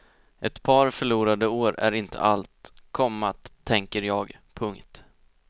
Ett par förlorade år är inte allt, komma tänker jag. punkt